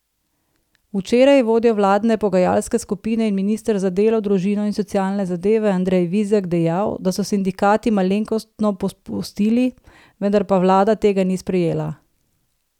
Včeraj je vodja vladne pogajalske skupine in minister za delo, družino in socialne zadeve Andrej Vizjak dejal, da so sindikati malenkostno popustili, vendar pa vlada tega ni sprejela.